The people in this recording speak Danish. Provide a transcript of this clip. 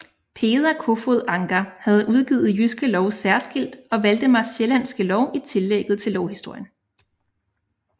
Peder Kofod Ancher havde udgivet Jyske Lov særskilt og Valdemars sjællandske Lov i tillægget til lovhistorien